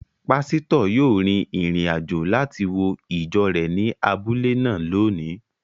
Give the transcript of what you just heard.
Pásítọ̀ yóò rin ìrìn-àjò láti wo ìjọ rẹ̀ ní abúlé náà lónìí